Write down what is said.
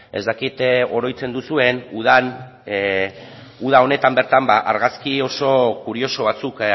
ez dakit oroitzen duzuen uda honetan bertan argazki oso kurioso batzuk